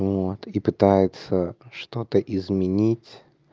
вот и пытается что-то изменить